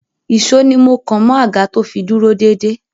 Ìsó ni mọ́ kàn mọ́ àga to fi dúró dédé.